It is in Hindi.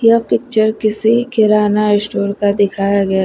पिक्चर किसी किराना स्टोर का दिखाया गया--